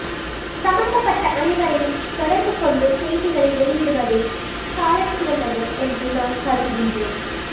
சம்மந்தப்பட்ட அனைவரையும் தொடர்பு கொண்டு செய்திகளை வெளியிடுவதே சாலச்சிறந்தது என்று நான் கருதுகின்றேன்